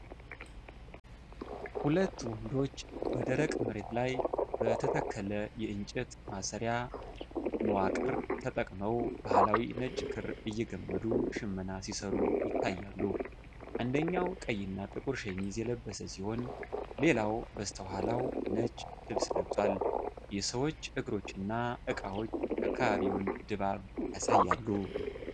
ሁለት ወንዶች በደረቅ መሬት ላይ በተተከለ የእንጨት ማሰሪያ/መዋቅር ተጠቅመው ባህላዊ ነጭ ክር እየገመዱ ሽመና ሲሰሩ ይታያሉ። አንደኛው ቀይና ጥቁር ሸሚዝ የለበሰ ሲሆን፣ ሌላው በስተኋላው ነጭ ልብስ ለብሷል። የሰዎች እግሮችና እቃዎች የአካባቢውን ድባብ ያሳያሉ።